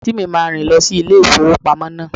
Àǹtí mi máa rìn lọ sí ilé ìfowópamọ́ náà.